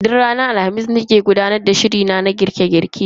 Duk ranar Alhamis nake gudanar da shiri na na girke girke a gidan rediyo.